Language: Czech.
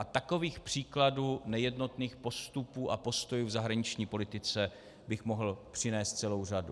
A takových příkladů nejednotných postupů a postojů v zahraniční politice bych mohl přinést celou řadu.